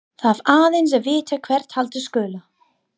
Þarf aðeins að vita hvert halda skuli.